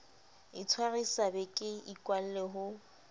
itshwarisa be ke ikwalle ho